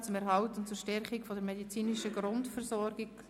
Die Ziffer 2 ist zurückgezogen worden.